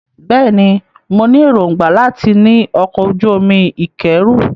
Bẹ́ẹ̀ ni, mo ní èròńgbà láti ní ọkọ̀-ojú-omi ìkẹ́rù.